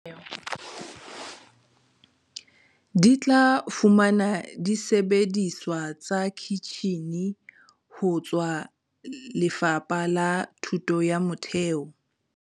Di tla fumana disebediswa tsa kitjhine ho tswa Lefapa la Thuto ya Motheo.